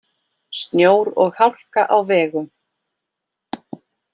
Snjór og hálka á vegum